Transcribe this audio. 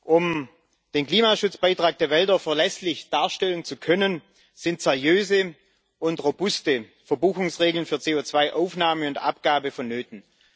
Um den Klimaschutzbeitrag der Wälder verlässlich darstellen zu können, sind seriöse und robuste Verbuchungsregeln für CO2 Aufnahme und Abgabe von Nöten.